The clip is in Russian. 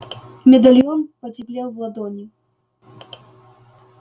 медальон потеплел в ладони